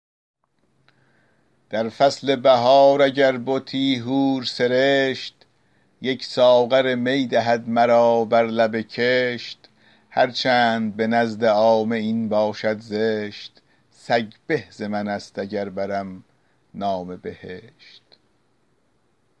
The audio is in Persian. در فصل بهار اگر بتی حور سرشت یک ساغر می دهد مرا بر لب کشت هر چند به نزد عامه این باشد زشت سگ به ز من است اگر برم نام بهشت